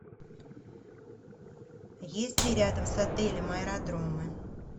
есть ли рядом с отелем аэродромы